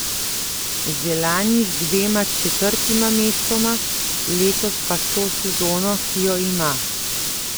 Že lani z dvema četrtima mestoma, letos pa s to sezono, ki jo ima.